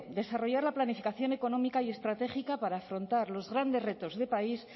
desarrollar la planificación económica y estratégica para afrontar los grandes retos de país